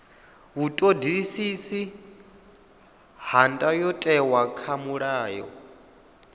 vhuṱoḓisisi ha ndayotewa kha mulayo